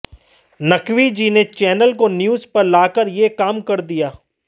नक़वी जी ने चैनल को न्यूज़ पर लाकर ये काम कर दिया